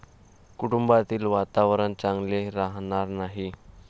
कुटुंबातील वातावरण चांगले राहणार नाही.